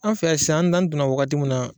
An fɛ yan sisan an donna wagati mun na.